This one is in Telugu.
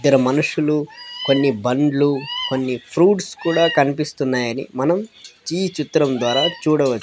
ఇద్దరు మనుషులు కొన్ని బండ్లు కొన్ని ఫ్రూట్స్ కూడా కనిపిస్తున్నాయని మనం ఈ చిత్రం ద్వారా చూడవచ్చు.